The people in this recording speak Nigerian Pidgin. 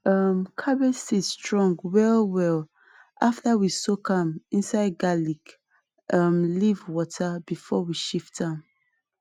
um cabbage seed strong wellwell after we soak am inside garlic um leaf water before we shift am